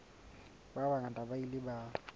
ba bangata ba ile ba